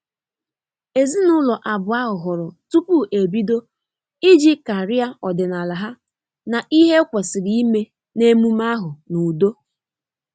Ezinụlọ abụọ ahụ hụrụ tupu ebido iji karịa ọdịnala ha na ihe e kwesịrị ime na emume ahu n'udo